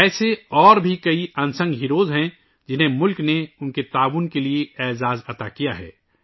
اس طرح کے اور بھی بہت سے غیر معروف ہیرو ہیں ، جنہیں ملک نے ان کی خدمات کے لئے اعزاز سے نوازا ہے